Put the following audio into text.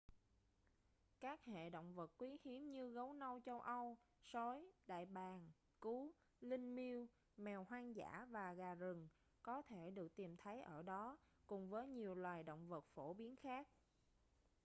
các hệ động vật quý hiếm như gấu nâu châu âu sói đại bàng cú linh miêu mèo hoang dã và gà rừng có thể được tìm thấy ở đó cùng với nhiều loài động vật phổ biến khác